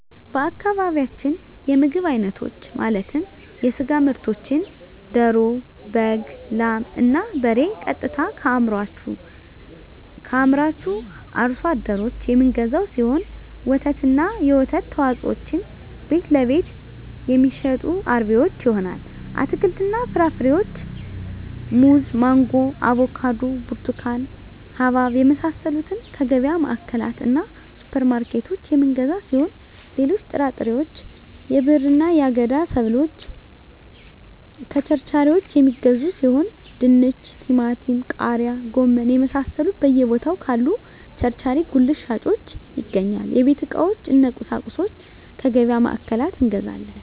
በአካባቢያችን የምግብ አይነቶች ማለትም የስጋ ምርቶችን ደሮ በግ ላም እና በሬ ቀጥታ ከአምራቹ አርሶ አደሮች የምንገዛው ሲሆን ወተትና የወተት ተዋፅኦዎችን ቤትለቤት የሚሸጡ አርቢዎች ይሆናል አትክልትና ፍራፍሬዎችን ሙዝ ማንጎ አቮካዶ ብርቱካን ሀባብ የመሳሰሉትከየገቢያ ማዕከላትእና ሱፐር ማርኬቶች የምንገዛ ሲሆን ሌሎች ጥራጥሬዎች የብዕርና የአገዳ ሰብሎችን ከቸርቻሪዎች የሚገዙ ሲሆን ድንች ቲማቲም ቃሪያ ጎመን የመሳሰሉት በየ ቦታው ካሉ ቸርቻሪ ጉልት ሻጮች ይገኛል የቤት ዕቃዎች እነ ቁሳቁሶች ከገቢያ ማዕከላት እንገዛለን